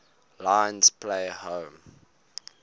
lions play home